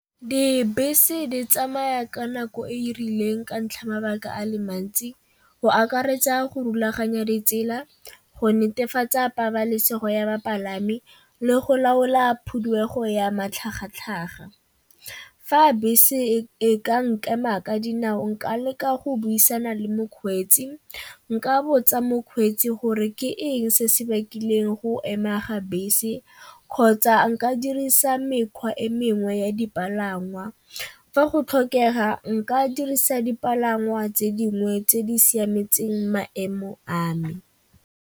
Dibese di tsamaya ka nako e e rileng ka ntlha ya mabaka a le mantsi, go akaretsa go rulaganya ditsela. Go netefatsa pabalesego ya bapalami le go laola ya matlhagatlhaga. Fa bese e ka nkema ka dinao nka leka go buisana le mokgweetsi, nka botsa mokgweetsi gore ke eng se se bakileng go ema ga bese kgotsa nka dirisa mekgwa e mengwe ya dipalangwa, fa go tlhokega nka dirisa dipalangwa tse dingwe tse di siametseng maemo a me.